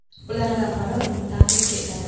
Ulardan biri uni ta’qib etadi.